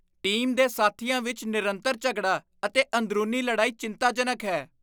Team ਦੇ ਸਾਥੀਆਂ ਵਿੱਚ ਨਿਰੰਤਰ ਝਗੜਾ ਅਤੇ ਅੰਦਰੂਨੀ ਲੜਾਈ ਚਿੰਤਾਜਨਕ ਹੈ।